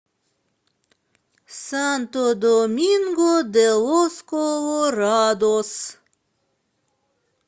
санто доминго де лос колорадос